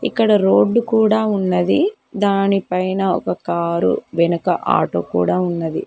ఇక్కడ రోడ్డు కూడా ఉన్నది దాని పైన ఒక కారు వెనుక ఆటో కూడా ఉన్నది.